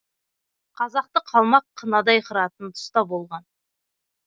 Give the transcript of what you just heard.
қазақты қалмақ қынадай қыратын тұста болған